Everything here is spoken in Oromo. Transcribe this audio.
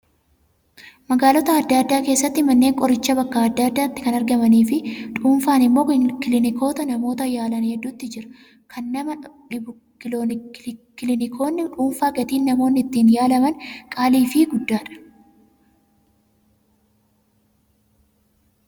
Magaalota adda addaa keessatti manneen qorichaa bakka adda addaatti kan argamanii fi dhuunfaan immoo kiliinikoota namoota yaalan hedduutu jiru. Kan nama dhibu kiliinikoonni dhuunfaa gatiin namoonni ittiin yaalaman qaalii fi guddaadha.